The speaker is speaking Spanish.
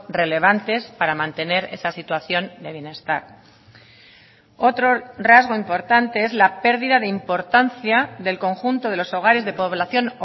relevantes para mantener esa situación de bienestar otro rasgo importante es la pérdida de importancia del conjunto de los hogares de población